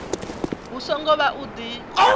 hu songo vha u di